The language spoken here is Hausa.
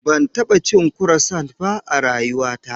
Ban taɓa cin kurosant ba a rayuwata.